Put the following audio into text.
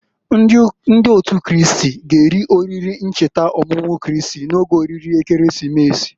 Ndị Otu Kristi g'eri oriri ncheta ọmụmụ Kristi n'oge oriri Ekeresimesi.